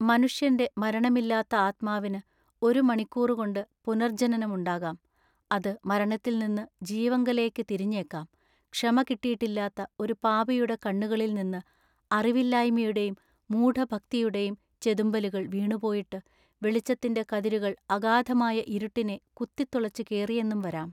മനുഷ്യന്റെ മരണമില്ലാത്ത ആത്മാവിനു ഒരു മണിക്കൂറുകൊണ്ടു പുനർജനനം ഉണ്ടാകാം" അതു മരണത്തിൽനിന്നു ജീവങ്കലേക്കു തിരിഞ്ഞേക്കാം" ക്ഷമ കിട്ടീട്ടില്ലാത്ത ഒരു പാപിയുടെ കണ്ണുകളിൽ നിന്നു അറിവില്ലായ്മയുടെയും മൂഢഭക്തിയുടെയും ചെതുമ്പലുകൾ വീണുപോയിട്ടു വെളിച്ചത്തിന്റെ കതിരുകൾ അഗാധമായ ഇരുട്ടിനെ കുത്തിത്തുളച്ചു കേറിയെന്നും വരാം.